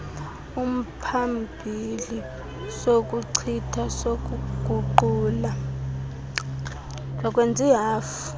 umphambili sokuchitha sokuguqula